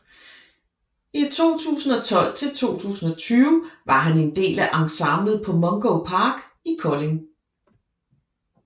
I 2012 til 2020 var han en del af ensemblet på Mungo park I Kolding